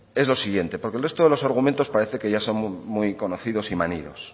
lo siguiente porque el resto de los argumentos parecen que ya son muy conocidos y manidos